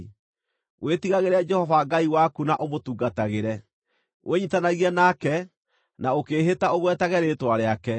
Wĩtigagĩre Jehova Ngai waku na ũmũtungatagĩre. Wĩnyiitanagie nake, na ũkĩĩhĩta ũgwetage rĩĩtwa rĩake.